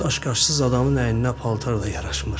Daşqaşsız adamın əyninə paltar da yaraşmır.